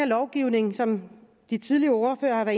lovgivning som de tidligere ordførere har